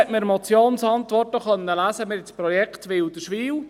Nun wurde in der Motionsantwort auch das Projekt Wilderswil erwähnt.